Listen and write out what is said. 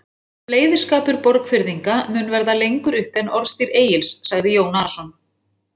Bleyðiskapur Borgfirðinga mun verða lengur uppi en orðstír Egils, sagði Jón Arason.